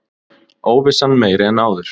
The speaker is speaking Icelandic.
Óvissan meiri en áður